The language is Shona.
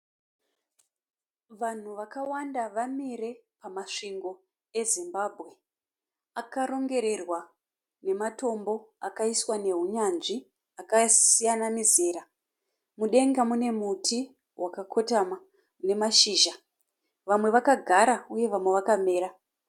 Vanhu vakawanda vamire pamasvingo eZimbabwe akarongererwa nematombo akaiswa nehunyanzvi akasiyana mizera. Mudenga mune muti wakakotama une mashizha. Vamwe vakagara uye vamwe vakamira.